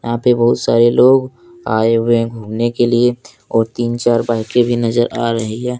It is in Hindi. यहाँ पे बहुत सारे लोग आये हुए है घूमने के लिए और तीन चार बाइके भी नजर आ रही है।